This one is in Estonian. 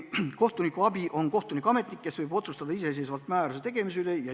Kohtunikuabi on kohtuametnik, kes võib otsustada iseseisvalt määruse tegemise üle.